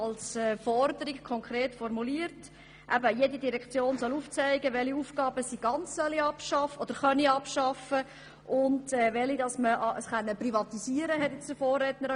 Jede Direktion soll aufzeigen, welche Aufgaben man ganz abschaffen und welche man privatisieren könne.